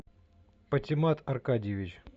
патимат аркадьевич